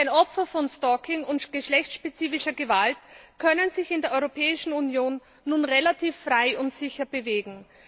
Denn Opfer von Stalking und geschlechtsspezifischer Gewalt können sich in der Europäischen Union nun relativ frei und sicher bewegen.